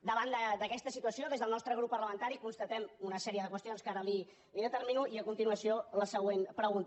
davant d’aquesta situació des del nostre grup parlamentari constatem una sèrie de qüestions que ara li determino i a continuació la següent pregunta